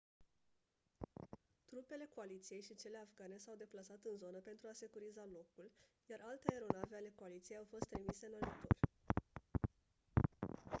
trupele coaliției și cele afgane s-au deplasat în zonă pentru a securiza locul iar alte aeronave ale coaliției au fost trimise în ajutor